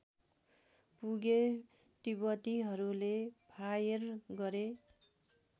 पुगे तिब्बतीहरूले फायर गरे